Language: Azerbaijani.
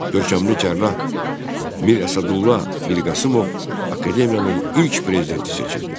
Görkəmli cərrah Mirəsədulla Mirqasımov akademiyanın ilk prezidenti seçildi.